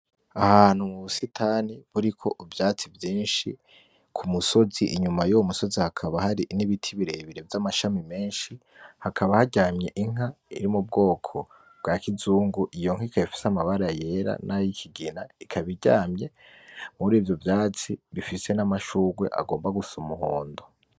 Ahantu mubusitani buriko ivyatsi vyinshi ku musozi, inyuma yuwo musozi hakaba hari n'ibiti birebire vy'amashami menshi hakaba haryamye inka iri mu bwoko bwa kizungu iyo nka ikaba ifise amabara yera nay'ikigina, ikaba iryamye murivyo vyatsi bifise n'amashurwe agomba gusa umuhondo.